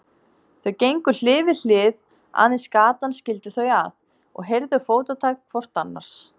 Þau gengu hlið við hlið, aðeins gatan skildi þau að, og heyrðu fótatak hvort annars.